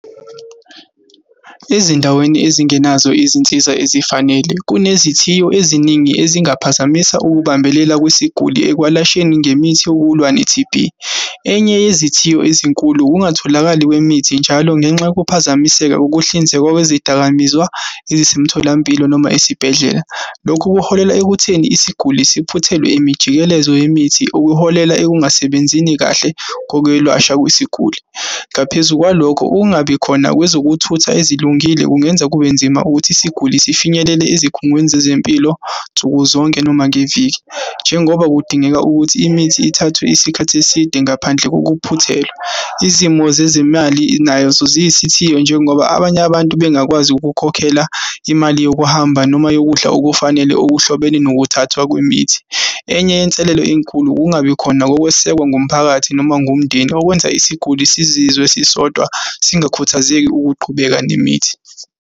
Ezindaweni ezingenazo izinsiza ezifanele, kunezithiyo eziningi ezingaphazamisa ukubambelela kwesiguli, ekwalasheni ngemithi yokulwa ne-T_B. Enye yezithiyo ezinkulu ukungatholakali kwemithi njalo ngenxa yokuphazamiseka, ukuhlinzekwa kwezidakamizwa ezisemtholampilo, noma esibhedlela. Lokhu kuholela ekutheni isiguli siphuthelwe imijikelezo yemithi, okuholela ekungasebenzini kahle kokwelwasha kwesiguli. Ngaphezu kwalokho, ukungabikhona kwezokuthutha ezilungile kungenza kube nzima ukuthi isiguli sifinyelele ezikhungweni zezempilo nsukuzonke, noma ngeviki, njengoba kudingeka ukuthi imithi ithathwe isikhathi eside ngaphandle kokuphuthelwa. Izimo zezimali nazo ziyisithiyo, njengoba abanye abantu bengakwazi ukukhokhela imali yokuhamba, noma yokudla okufanele okuhlobene nokuthathwa kwemithi. Enye yenselelo enkulu ukungabi khona kokwesekwa ngumphakathi, noma ngumndeni okwenza isiguli sizizwe sisodwa singakhuthazeki ukuqhubeka nemithi.